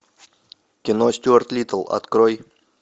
кино стюарт литтл открой